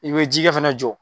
I bɛ jikɛ fana jɔ.